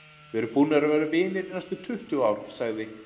Við erum búnir að vera vinir í næstum tuttugu ár, sagði